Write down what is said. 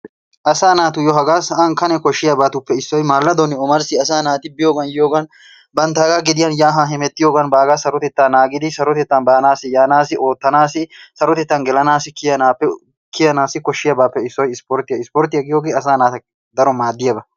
asaa naatuyoo hagaa sa'an kane kooshiyaabatuppe mallaadonne omarissi asaa naati biyoogan yiyoogan banttaagan gediyaan yaa haa bagaa sarottettaa naagidi sarottettaan baanaasi yaanassi oottanaassi sarottettaan kiyanaassi gelanaassi koshiyaabaappe issoy isporttiyaa. isporttiyaa giyoogee asaa naa keehippe go"iyaaba.